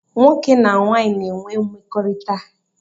Nwoke na nwanyị na-enwe mmekọrịta